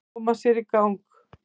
Að koma sér í gang